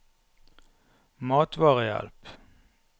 matvarehjelp